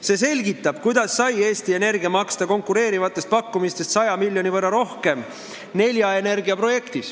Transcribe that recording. See selgitab, kuidas sai Eesti Energia hiljuti Nelja Energia projektis maksta konkureerivatest pakkumistest 100 miljoni võrra rohkem.